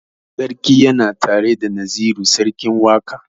Sarki yana tare da Naziru sarkin waƙa.